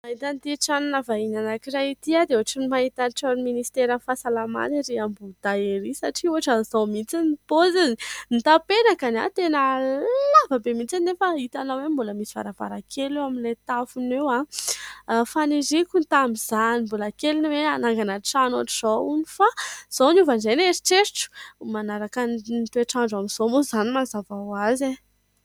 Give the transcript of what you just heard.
Mahita ity tranona vahiny anankiray ity aho dia ohatran' ny mahita tranon' ny minisiteran'ny fahasalamana ery Ambohidahy ery. Satria ohatran' izao mihitsy ny paozin' ny tapenakany. Tena lavabe mihitsy nefa itanao hoe mbola misy varavarankely eo amin'ilay tafony eo. Faniriako tamin' izany mbola kely ny hoe hanangana trano ohatr' izao hono, fa izao niova indray ny eritreritro. Manaraka ny toetrandro amin'izao moa izany mazava hoazy e !